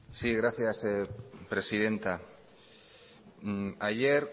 zurea da hitza sí gracias presidenta ayer